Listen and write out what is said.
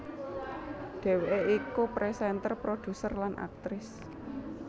Dhéwéké iku présénter produser lan aktris